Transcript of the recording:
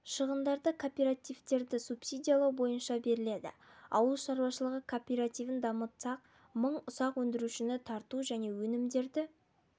шығындары кооперативтерді субсидиялау бойынша беріледі ауыл шаруашылығы кооперативін дамытсақ мың ұсақ өндірушіні тарту және өнімдерді